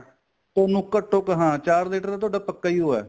ਤੁਹਾਨੂੰ ਘੱਟੋ ਹਾਂ ਚਾਰ litter ਤੁਹਾਡਾ ਪੱਕਾ ਈ ਓ ਏ